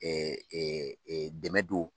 dɛmɛ don